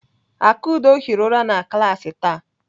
Akudo hiri ụra na klaasị taa.